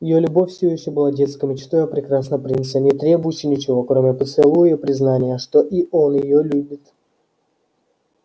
её любовь все ещё была детской мечтой о прекрасном принце не требующей ничего кроме поцелуя и признания что и он её любит